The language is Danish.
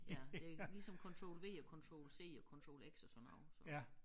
Ja det ligesom Control V og Control C og Control X og sådan noget